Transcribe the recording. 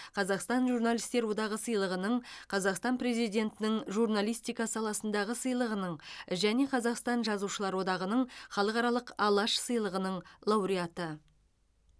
қазақстан журналистер одағы сыйлығының қазақстан президентінің журналистика саласындағы сыйлығының және қазақстан жазушылар одағының халықаралық алаш сыйлығының лауреаты